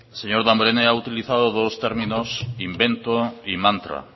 señor damborenea ha utilizado dos términos invento y mantra